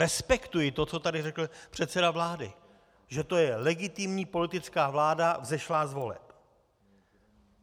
Respektuji to, co tady řekl předseda vlády, že to je legitimní politická vláda vzešlá z voleb.